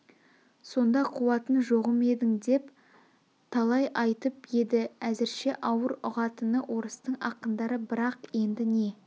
сонда қуатын жоғым едің деп талай айтып еді әзірше ауыр ұғатыны орыстың ақындары бірақ енді не